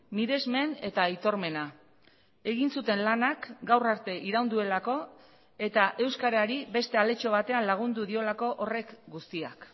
miresmen eta aitormena egin zuten lanak gaur arte iraun duelako eta euskarari beste aletxo batean lagundu diolako horrek guztiak